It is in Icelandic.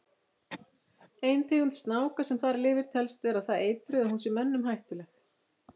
Ein tegund snáka sem þar lifir telst vera það eitruð að hún sé mönnum hættuleg.